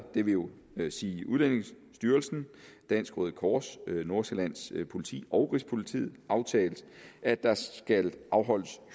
det vil vil sige udlændingestyrelsen dansk røde kors nordsjællands politi og rigspolitiet aftalt at der skal afholdes